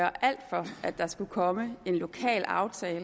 her kommer